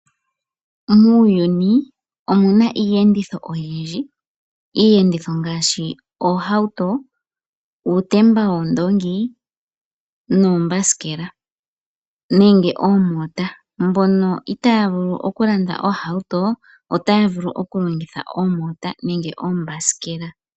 Muuyuni omuna iiyenditho oyindji, iiyenditho ngaashi, oohauto, uutemba woondoongi, noombasikela nenge oomota. Mbono itayavulu okulanda ohauto otayavulu okulongitha oomota nenge oombasikela.